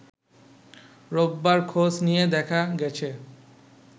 রোববার খোঁজ নিয়ে দেখা গেছে